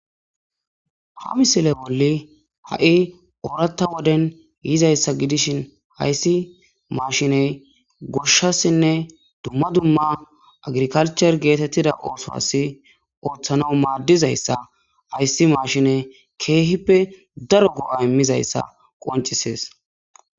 Ha misile bolli ha'i ooratta woden yizayssa gidishin hayssi mashiney gushshassinne dumma dumma agrikalchur geetettida ooso as ooththana maaddizayssa hayssi mashiney keehippe daro go'o immizayssa qoncisees.